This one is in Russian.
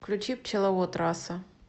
включи пчеловод раса